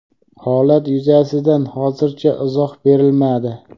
Holat yuzasidan hozircha izoh berilmadi.